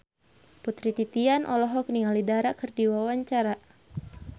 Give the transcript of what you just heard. Putri Titian olohok ningali Dara keur diwawancara